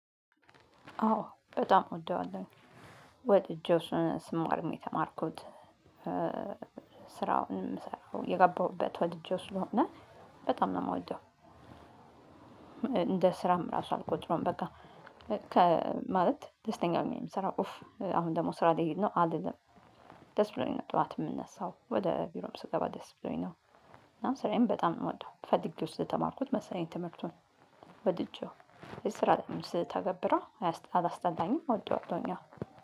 አዎ በጣም እወደዋለሁ። ወድጄው እሱን ስማርም የተማርኩት። ስራውንም የምሰራው የገባሁበት ወድጄው ስለሆነ በጣም ነው የምወደው። እንደ ስራም ራሱ አልቆጥረውም በቃ። ከ ማለት ደስተኛ ሆኘ ነው የምሰራው። ኡፍ አሁን ደግሞ ስራ ልሂድ ነው አልልም። ደስ ብሎኝ ነው ጠዋት የምነሳው ወደ ቢሮም ስገባ ደስ ብሎኝ ነው። እና ስራዬን በጣም ነው የምወደው። ፈልገው ስለተምማርኩት መሰለኝ ትምህርቱን። ወድጀው በስራ ስተገብረው አላስጠላኝም አወደዋለሁኝ። አሁን